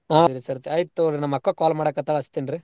ಹ್ಮ್ ರಿ ಈ ಸರ್ತಿ ಸರಿ ತಗೋರಿ ನಮ್ಮಕ್ಕ call ಮಾಡಾಕತ್ತಾಳಾ ಹಚ್ತೀನ್ರಿ.